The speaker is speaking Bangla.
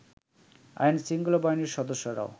আইন শৃংখলা বাহিনীর সদস্যরাও